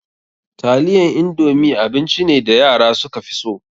Taliyan indomi abinci ne da yara suka fi so.